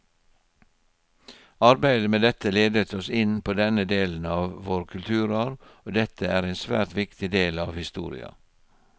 Arbeidet med dette ledet oss inn på denne delen av vår kulturarv, og dette er en svært viktig del av historia.